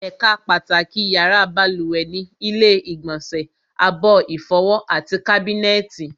Ẹ̀ka pàtàkì yàrá balùwẹ̀ ni ilu ìgbọ̀nsẹ̀, abọ́ ìfọwọ́, àti kábínẹ̀tì